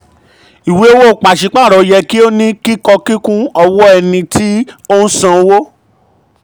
ìwé owó pàsípàrọ̀ yẹ kí ó ní kíkọ kúnkún ọwọ́ ẹni um tí um ń sanwó.